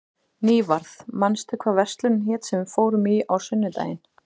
Nývarð, manstu hvað verslunin hét sem við fórum í á sunnudaginn?